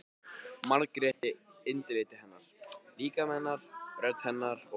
Margréti- andliti hennar, líkama hennar, rödd hennar- og